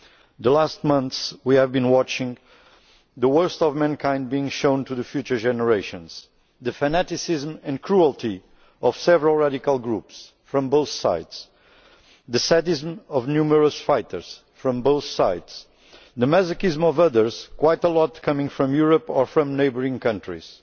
Over the last few months we have been watching the worst of mankind being shown to future generations the fanaticism and cruelty of several radical groups from both sides the sadism of numerous fighters from both sides, the masochism of others quite a lot coming from Europe or from neighbouring countries